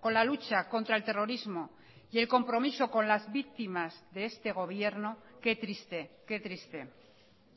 con la lucha contra el terrorismo y el compromiso con las víctimas de este gobierno qué triste qué triste